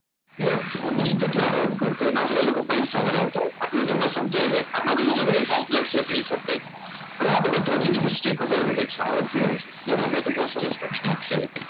કે ધોની કેટલા run કરશે એના ઉપર એ લોકો પૈસા લગાવતા હોય છે એટલે તો તમને સમજાય છે આમાંથી એવું નથી ને કે complex એ નહીં સમજાતું કે આપણને ધોની history ખબર છે કે એ સારો player છે કે તમે તો બહુ સરસ રમી નાખશે